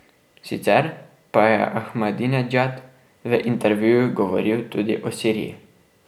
Sicer pa je Ahmadinedžad v intervjuju govoril tudi o Siriji.